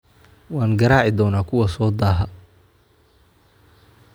Waan garaaci doonaa kuwa soo daaha